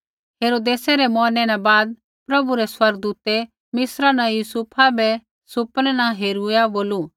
हेरोदेसै रै मौरनै न बाद प्रभु रै स्वर्गदूतै मिस्रा न यूसुफा बै सुपने न हेरूइया बोलू